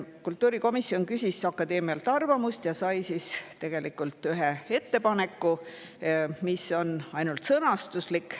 Kultuurikomisjon küsis akadeemialt arvamust ja sai tegelikult ühe ettepaneku, mis on ainult sõnastuslik.